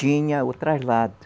Tinha o traslado.